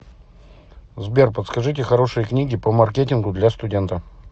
сбер подскажите хорошие книги по маркетингу для студента